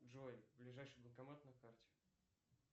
джой ближайший банкомат на карте